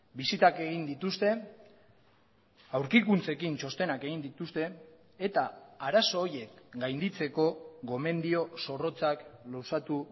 bisitak egin dituzte aurkikuntzekin txostenak egin dituzte eta arazo horiek gainditzeko gomendio zorrotzak luzatu